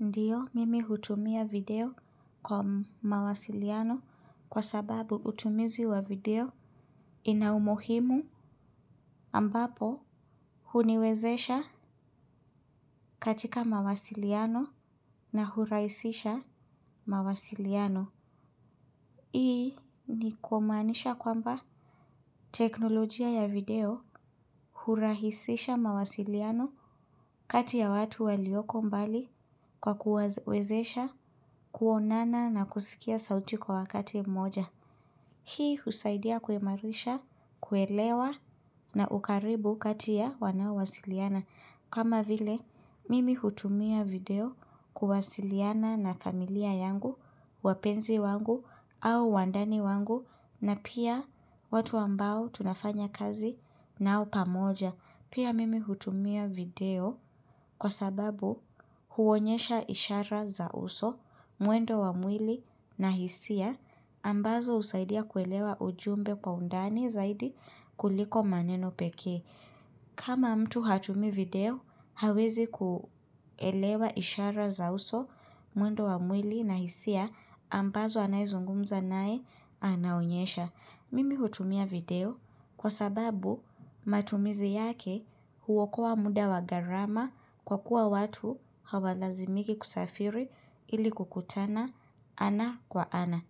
Ndiyo mimi hutumia video kwa mawasiliano kwa sababu utumizi wa video ina umuhimu ambapo huniwezesha katika mawasiliano na hurahisisha mawasiliano. Hii ni kumaanisha kwamba teknolojia ya video hurahisisha mawasiliano kati ya watu walioko mbali kwa kuwawezesha kuonana na kusikia sauti kwa wakati mmoja. Hii husaidia kuimarisha, kuelewa na ukaribu kati ya wanaowasiliana. Kama vile, mimi hutumia video kuwasiliana na familia yangu, wapenzi wangu au wandani wangu na pia watu ambao tunafanya kazi nao pamoja. Pia mimi hutumia video kwa sababu huonyesha ishara za uso, mwendo wa mwili na hisia, ambazo husaidia kuelewa ujumbe kwa undani zaidi kuliko maneno pekee. Kama mtu hatumii video, hawezi kuelewa ishara za uso, muendo wa mwili na hisia, ambazo anayezungumza naye anaonyesha. Mimi hutumia video kwa sababu matumizi yake huokoa muda wa gharama kwa kuwa watu hawalazimiki kusafiri ili kukutana ana kwa ana.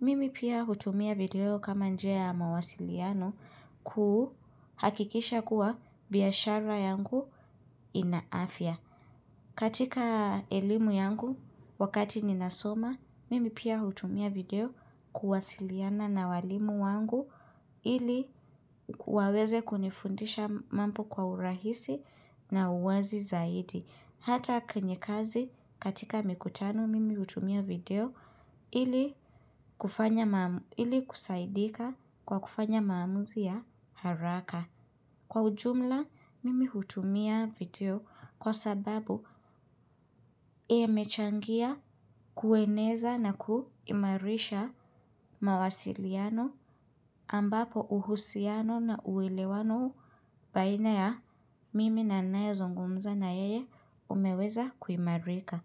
Mimi pia hutumia video kama njia ya mawasiliano kuhakikisha kuwa biashara yangu ina afya. Katika elimu yangu wakati ninasoma, mimi pia hutumia video kuwasiliana na walimu wangu ili waweze kunifundisha mambo kwa urahisi na uwazi zaidi. Hata kwenye kazi katika mikutano mimi hutumia video ili kusaidika kwa kufanya maamuzi ya haraka. Kwa ujumla mimi hutumia video kwa sababu imechangia kueneza na kuimarisha mawasiliano ambapo uhusiano na uelewano baina ya mimi na ninayezungumza na yeye umeweza kuimarika.